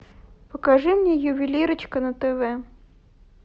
покажи мне ювелирочка на тв